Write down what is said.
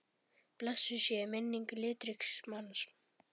Blessuð sé minning litríks manns.